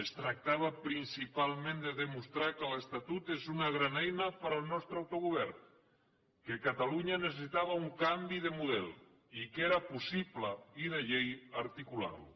es tractava principalment de demostrar que l’estatut és una gran eina per al nostre autogovern que catalunya necessitava un canvi de model i que era possible i de llei articular lo